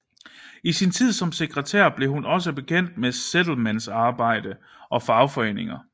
I sin tid som sekretær blev hun også bekendt med Settlementsarbejde og fagforeninger